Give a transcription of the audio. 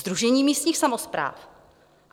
Sdružení místních samospráv.